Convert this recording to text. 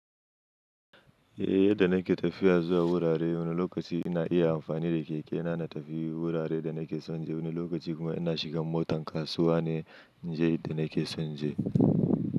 Eh, yadda na ke tafiya zuwa wurare wani lokaci ina iya amfani da keke na na tafi wurare da na ke son in je wani lokaci kuma ina shigan motan kasuwa ne in je inda na ke son in je.